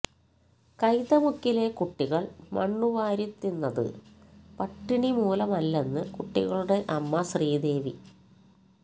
കൈതമുക്കിലെ കുട്ടികള് മണ്ണ് വാരി തിന്നത് പട്ടിണി മൂലമല്ലെന്ന് കുട്ടികളുടെ അമ്മ ശ്രീദേവി